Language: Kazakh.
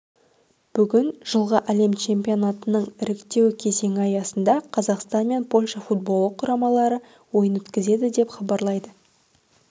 бүгін жылғы әлем чемпионатының іріктеу кезеңі аясында қазақстан мен польша футболы құрамалары ойын өткізеді деп хабарлайды